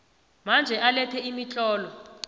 manje alethe imitlolo